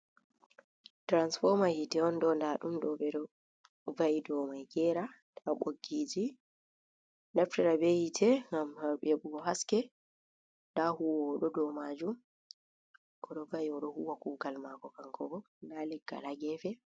Tiransfoma hite on ɗo, nda ɗum ɗo ɓeɗo va'i domai gera, nda ɓoggi yiti, naftira be hite gam heɓo go haske, ndahuwo wo o ɗo dow maju oɗo va'i huwa kugal mako kankobo, nda leggal ha gefe.